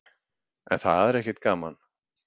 En það er ekkert gaman.